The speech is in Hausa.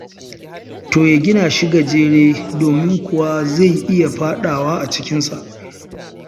To ya gina shi gajere, domin kuwa zai iya faɗawa a cikinsa.